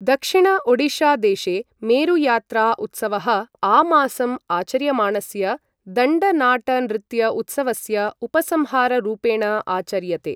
दक्षिण ओडिशादेशे मेरुयात्रा उत्सवः आमासं आचर्यमाणस्य दण्ड नाट नृत्य उत्सवस्य उपसंहाररूपेण आचर्यते।